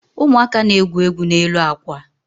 Ụmụaka na-egwu egwu n'elu akwa.